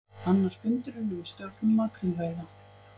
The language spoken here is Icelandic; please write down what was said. Annar fundurinn um stjórnun makrílveiða